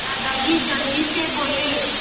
दादाजी जल्दी से बोले